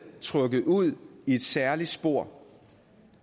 trukket ud i et særligt spor